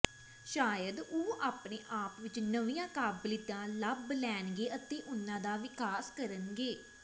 ਸ਼ਾਇਦ ਉਹ ਆਪਣੇ ਆਪ ਵਿਚ ਨਵੀਆਂ ਕਾਬਲੀਅਤਾਂ ਲੱਭ ਲੈਣਗੇ ਅਤੇ ਉਨ੍ਹਾਂ ਦਾ ਵਿਕਾਸ ਕਰਨਗੇ